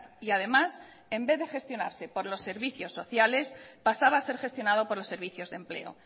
y además en vez de gestionarse por los servicios sociales pasaba a ser gestionado por los servicios de empleo